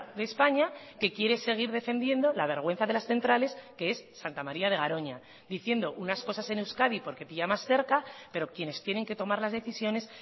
de españa que quiere seguir defendiendo la vergüenza de las centrales que es santa maría de garoña diciendo unas cosas en euskadi porque pilla más cerca pero quienes tienen que tomar las decisiones